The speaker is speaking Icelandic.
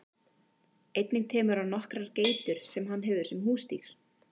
Einnig temur hann nokkrar geitur sem hann hefur sem húsdýr.